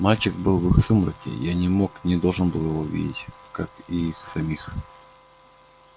мальчик был в их сумраке я не мог не должен был его видеть как и их самих